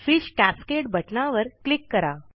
fish cascade बटनावर click करा